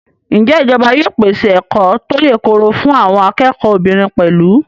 Ǹjẹ́ ìjọba yóò pèsè ẹ̀kọ́ tó yèkoro fún àwọn akẹ́kọ̀ọ́ obìnrin pẹ̀lú?